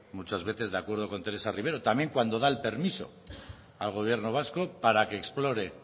muchas veces de acuerdo con teresa rivero también cuando da el permiso al gobierno vasco para que explore